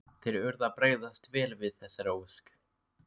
Þeir urðu að bregðast vel við þessari ósk.